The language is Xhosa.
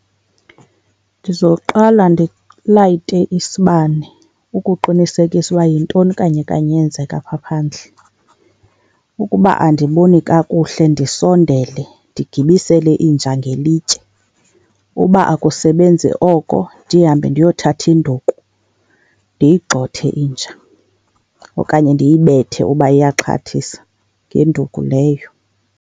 Ndizoqala ndilayite isibane ukuqinisekisa uba yintoni kanye kanye eyenzeka pha phandle. Ukuba andiboni kakuhle ndisondele, ndigibisele inja ngelitye, uba akusebenzi oko ndihambe ndiyothatha induku ndiyigxothe inja okanye ndiyibethe uba iyaxhathisa ngenduku leyo.